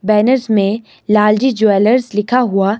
banners में Lal ji jewellers लिखा हुआ--